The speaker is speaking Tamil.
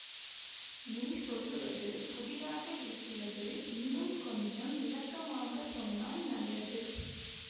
நீர் சொல்லுவது புதிராக இருக்கிறது இன்னும் கொஞ்சம் விளக்கமாகச் சொன்னால் நல்லது